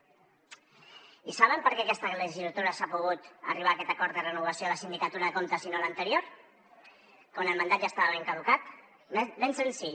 i saben per què aquesta legislatura s’ha pogut arribar a aquest acord de renovació de la sindicatura de comptes i no l’anterior quan el mandat ja estava caducat ben senzill